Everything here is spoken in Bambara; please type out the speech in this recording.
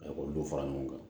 olu fara ɲɔgɔn kan